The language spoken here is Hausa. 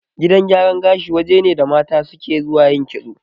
Gidan gyaran gashi waje ne da mata suke zuwa yin kitso